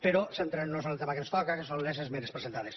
però centrem nos en el tema que ens toca que són les esmenes presentades